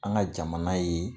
An ka jamana ye